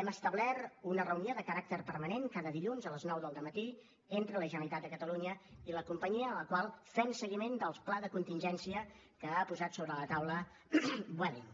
hem establert una reunió de caràcter permanent cada dilluns a les nou del matí entre la generalitat de catalunya i la companyia a la qual fem seguiment del pla de contingència que ha posat sobre la taula vueling